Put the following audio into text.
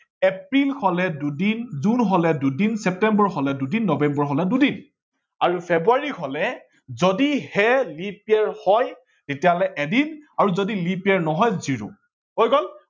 এপ্ৰিল হলে দুদিন, জুন হলে দুদিন, ছেপ্তেম্বৰ হলে দুদিন, নৱেম্বৰ হলে দুদিন আৰু ফেব্ৰুৱাৰী হলে যদিহে leap year হয় তেতিয়া হলে এদিন আৰু leap year নহয় zero হৈ গল